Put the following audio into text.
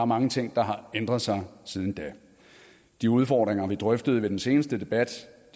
mange ting der har ændret sig siden da de udfordringer vi drøftede ved den seneste debat